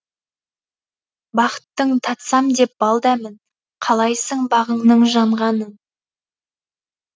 бақыттың татсам деп бал дәмін қалайсың бағыңның жанғанын